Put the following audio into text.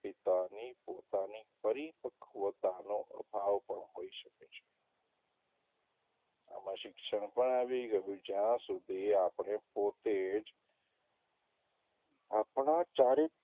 પિતાની પોતાની પરિપક્વતાનો અભાવ પણ હોઈ શકે છે આમાં શિક્ષણ પણ આવી ગયું જ્યાં સુધી આપડે પોતે જ આપણા ચારી,